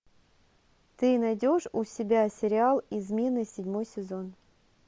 ты найдешь у себя сериал измены седьмой сезон